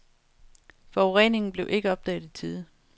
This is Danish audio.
Forureningen blev ikke opdaget i tide.